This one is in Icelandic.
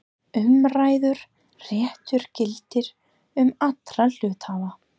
Umræddur réttur gildir um alla hluthafa.